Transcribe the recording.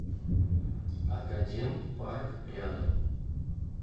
академ парк рядом